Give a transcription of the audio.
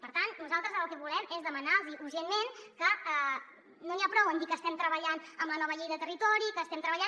per tant nosaltres el que volem és demanar los urgentment que no n’hi ha prou amb dir que estem treballant amb la nova llei de territori que estem treballant